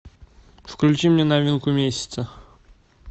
включи мне новинку месяца